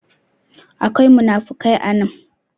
akwai munafikai a nan